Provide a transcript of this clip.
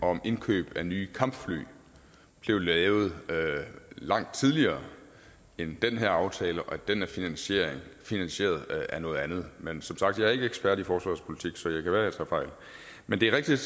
om indkøb af nye kampfly blev lavet langt tidligere end den her aftale og at den er finansieret finansieret af noget andet men som sagt ikke ekspert i forsvarspolitik så det kan være at jeg tager fejl men det er rigtigt